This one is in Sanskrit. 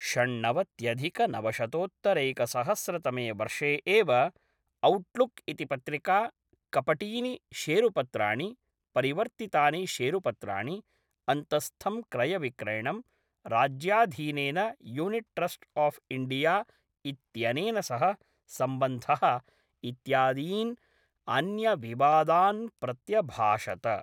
षण्णवत्यधिकनवशतोत्तरैकसहस्रतमे वर्षे एव, औट्लुक् इति पत्रिका कपटीनि शेरुपत्राणि, परिवर्तितानि शेरुपत्राणि, अन्तःस्थं क्रयविक्रयणम्, राज्याधीनेन यूनिट् ट्रस्ट् आफ् इण्डिया इत्यनेन सह सम्बन्धः इत्यादीन् अन्यविवादान् प्रत्यभाषत।